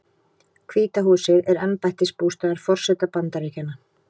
Hvíta húsið er embættisbústaður forseta Bandaríkjanna.